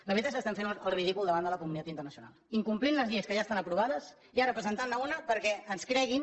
la veritat és que estan fent el ridícul davant de la comunitat internacional incomplint les lleis que ja estan aprovades i ara presentant ne una perquè ens creguin